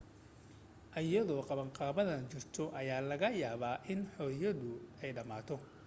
iyada oo qabanqaabadan jirto, ayaa laga yaabaa in xorriyadu dhammaato